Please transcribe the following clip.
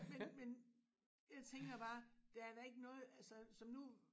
Men men jeg tænker bare der er da ikke noget altså som nu